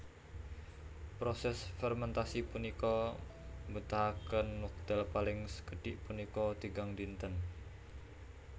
Proses fermentasi punika mbetahaken wekdal paling sekedhik punika tigang dinten